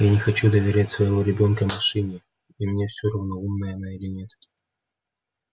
я не хочу доверять своего ребёнка машине и мне все равно умная она или нет